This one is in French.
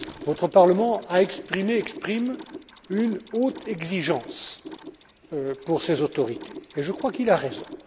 Votre Parlement a exprimé exprime une haute exigence pour ces autorités, et je crois qu'il a raison.